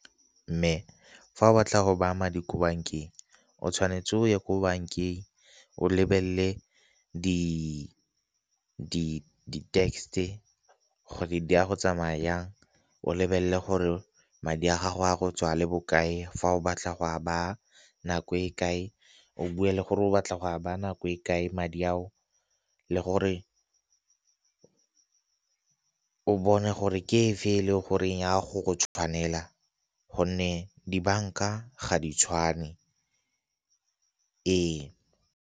Mme fa o batla go ba ama di ko bankeng o tshwanetse o ye ko bankeng o lebelele di gore di a go tsamaya yang, o lebelele gore madi a gago a go tswa le bokae fa o batla go a baa nako e kae o bue le gore o batla go a ba nako e kae madi ao le gore o bone gore ke efe e le goreng ya go go tshwanela gonne dibanka ga di tshwane ee.